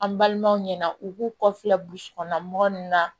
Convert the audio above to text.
An balimaw ɲɛna u k'u kɔfilɛ burusi kɔnɔna mɔgɔ ninnu na